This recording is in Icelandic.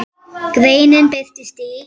Greinin birtist í